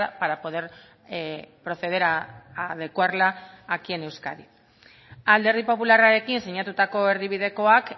para poder proceder a adecuarla aquí en euskadi alderdi popularrarekin sinatutako erdibidekoak